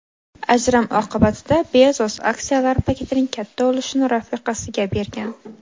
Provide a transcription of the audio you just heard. Ajrim oqibatida Bezos aksiyalar paketining katta ulushini rafiqasiga bergan.